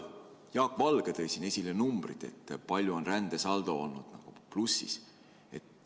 Jaak Valge tõi siin esile numbrid, palju on rändesaldo olnud nagu plussis.